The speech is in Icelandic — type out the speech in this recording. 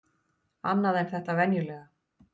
Annað en þetta venjulega.